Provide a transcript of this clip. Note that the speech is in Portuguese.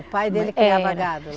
O pai dele criava gado lá?